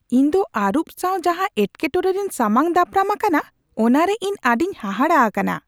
ᱤᱧ ᱫᱚ ᱟᱹᱨᱩᱵ ᱥᱟᱶ ᱡᱟᱦᱟ ᱮᱴᱠᱮᱴᱚᱲᱮ ᱨᱤᱧ ᱥᱟᱢᱟᱝ ᱫᱟᱯᱨᱟᱢ ᱟᱠᱟᱱᱟ ᱚᱱᱟᱨᱮ ᱤᱧ ᱟᱹᱰᱤᱧ ᱦᱟᱦᱟᱲᱟ ᱟᱠᱟᱱᱟ ᱾